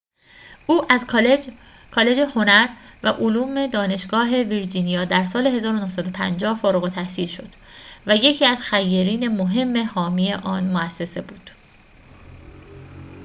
او از کالج هنر و علوم دانشگاه ویرجینیا در سال ۱۹۵۰ فارغ‌التحصیل شد و یکی از خیرین مهم حامی آن مؤسسه بود